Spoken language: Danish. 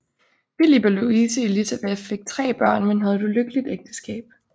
Filip og Louise Élisabeth fik tre børn men havde et ulykkeligt ægteskab